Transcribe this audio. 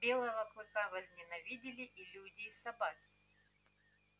белого клыка возненавидели и люди и собаки